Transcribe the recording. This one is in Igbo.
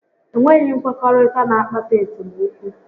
Enweghị nkwekọrịta n'akpata esemokwu